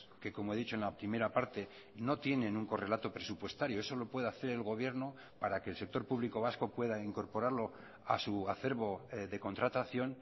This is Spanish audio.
que como he dicho en la primera parte no tienen un correlato presupuestario eso lo puede hacer el gobierno para que el sector público vasco pueda incorporarlo a su acerbo de contratación